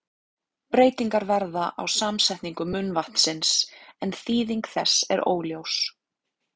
Breytingar verða á samsetningu munnvatnsins, en þýðing þess er óljós.